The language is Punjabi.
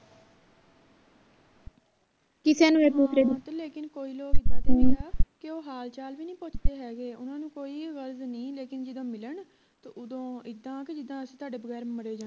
ਕਈ ਲੋਕ ਇੱਦਾਂ ਦੇ ਵੀ ਹੈ ਕੇ ਉਹ ਹਾਲ ਚਾਲ ਵੀ ਨਹੀਂ ਪੁੱਛਦੇ ਹੈਗੇ ਓਹਨਾ ਨੂੰ ਕੋਈ ਗਰਜ ਨਹੀਂ ਲੇਕਿਨ ਜਦੋਂ ਮਿਲਣ ਤਾਂ ਉਦੋਂ ਇੱਦਾਂ ਕੇ ਅਸੀਂ ਤੁਹਾਡੇ ਬਗੈਰ ਮਰੇ ਜਾਣੇ ਆ